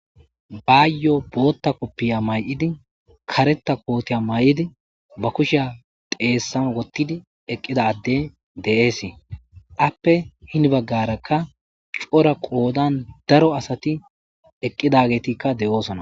Bayyo bootta koppiya mayidi kareta kootiya mayidi ba kushiya xeessan wottidi eqqida adde de'ishe appe hini baggarakka cora qoodan daro asati eqqidagetikka de'oosona.